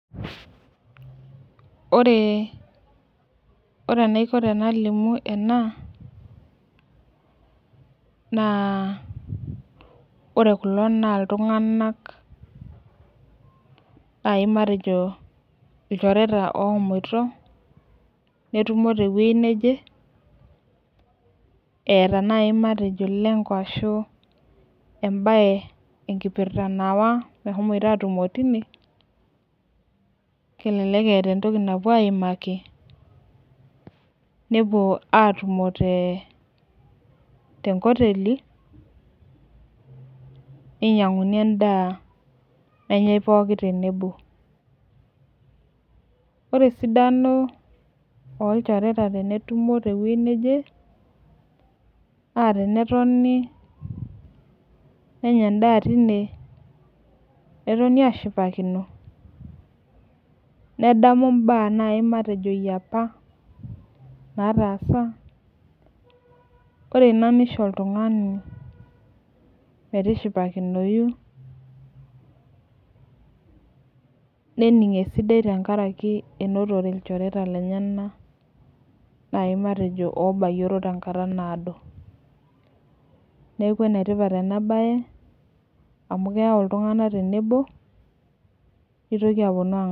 Ore enaiko tenalimu ena naa ore kulo naa iltung'anak naai matejo ilchoreta ooshomoita netumo tewueji neje eeta naai matejo lengo ashu embaye enkipirta naawa meshomoita aatumo tine kelelek eeta entoki napuo aaimaki nepuo aatumo tenkoteli ninyiang'uni endaa nenyai pooki tenebo ore esidano olchoreta tenetumo tewuei nebo naa tenetoni nenyaa endaa tine netoni aashipakino nedamu imbaa naai matejo e apa naataasa ore ina nisho oltung'ani metishipakinoi nening' esidai tenkaraki enotore ilchoreta lenyenak naai matejo oobayioro tenkata naado neeku enetipata ena baye amu keyau iltung'anak tenebo.